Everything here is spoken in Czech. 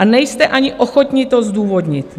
A nejste ani ochotni to zdůvodnit.